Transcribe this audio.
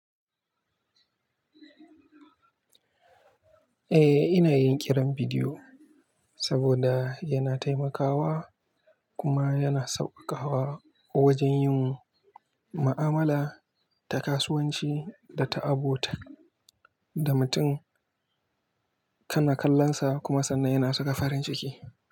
Eh, ina yin kiran bidiyo saboda yana taimakawa kuma yana sauƙaƙawa wajen yin ma'amala da kasuwanci da ta abota da mutum kanakallonsa kuma sannan yana saka farin ciki.